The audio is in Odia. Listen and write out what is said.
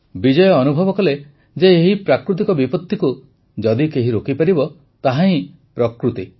ବିଜୟ ଅନୁଭବ କଲେ ଯେ ଯଦି ଏହି ପ୍ରାକୃତିକ ବିପତ୍ତିକୁ ଯଦି କେହି ରୋକିପାରିବ ତାହାହିଁ ପ୍ରକୃତି